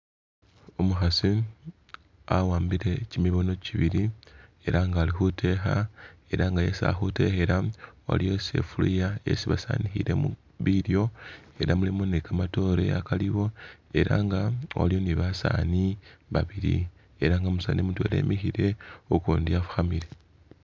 Umukhasi awambile kimibono kibili ela nga ali khutekha ela nga yesi ali khutekhela aliwo sifuluya isi basanikhilemu bilyo, ela mulimu ni kamatoore akaaliwo ela nga waliwo ni basaani babili ela nga umusaani mutwela wamikhile, ukundi wafukhamile.